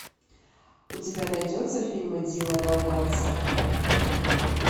у тебя найдется фильмы дилана уайтса